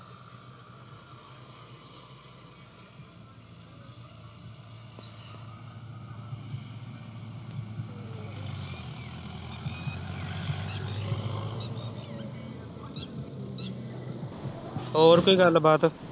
ਹੋਰ ਕੋਈ ਗੱਲ ਬਾਤ